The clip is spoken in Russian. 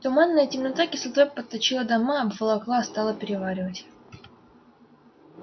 туманная темнота кислотой подточила дома обволокла стала переваривать